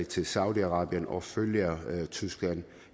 til saudi arabien og følger tyskland